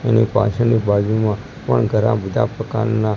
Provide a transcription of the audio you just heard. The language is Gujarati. એની પાછળની બાજુમાં પણ ઘણા બધા પ્રકારના--